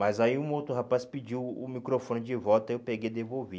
Mas aí um outro rapaz pediu o microfone de volta, eu peguei e devolvi.